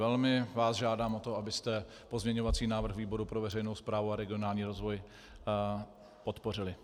Velmi vás žádám o to, abyste pozměňovací návrh výboru pro veřejnou správu a regionální rozvoj podpořili.